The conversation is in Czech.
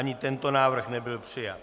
Ani tento návrh nebyl přijat.